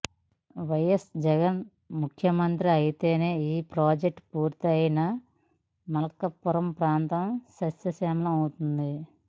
YS Jagan ముఖ్యమంత్రి అయితేనే ఈ ప్రాజెక్టు పూర్తయి మార్కాపురం ప్రాంతం సస్య శ్యామలమవుతుంది